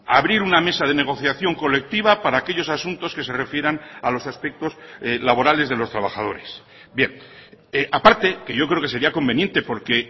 abrir una mesa de negociación colectiva para aquellos asuntos que se refieran a los aspectos laborales de los trabajadores bien a parte que yo creo que sería conveniente porque